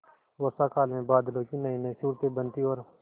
वर्षाकाल में बादलों की नयीनयी सूरतें बनती और